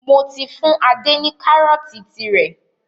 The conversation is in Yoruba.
Mò tí fún Ade ni karọ̀ọ̀ti tí rẹ.